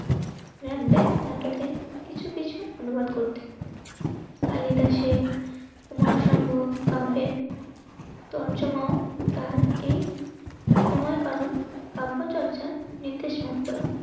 নাটকে কিছু কিছু অনুবাদ করতে. কালিদাসের কুমার শম্ভু কাম্পের তরজা মাও তার এই কাম্য চর্চার নির্দেশ মাত্র